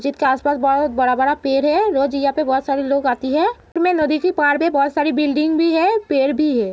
जितके आसपास बहोत बड़ा-बड़ा पेड़ है। रोज यहां पे बहोत सारे लोग आती है। बहोत सारी बिल्डिंग है पेड़ भी है।